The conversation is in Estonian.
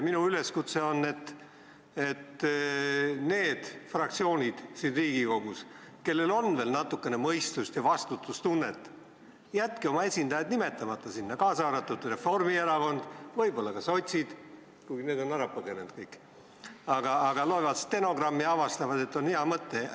Minu üleskutse on nendele fraktsioonidele siin Riigikogus, kellel on veel natukene mõistust ja vastutustunnet, jätke oma esindajad sinna nimetamata, kaasa arvatud Reformierakond, võib-olla ka sotsid, kuigi need on kõik ära põgenenud, aga äkki nad loevad stenogrammi ja avastavad, et see on hea mõte.